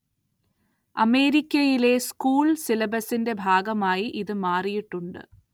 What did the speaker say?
അമേരിക്കയിലെ സ്കൂൾ സിലബസിന്റെ ഭാഗമായി ഇത് മാറിയിട്ടുണ്ട്.